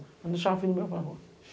Eu não deixava filho meu ir para a rua.